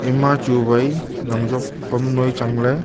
ema chuwai jan job pam noi change ley.